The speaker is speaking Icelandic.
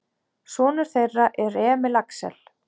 Sonur þeirra er Emil Axel.